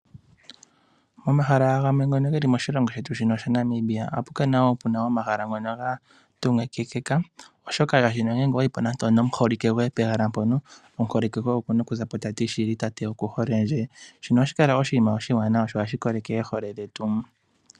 Omahala gamwe ngoka geli moshilongo shetu shaNamibia ohaga kala gatungikika. Oshoka nande owayipo nomuholike goye pehala mpono omuholike goye okuna okuzapo tati eeno tate oku holendje shino ohashi kala oshinima oshiwanawa oshoka ohashi koleke oohole dhetu.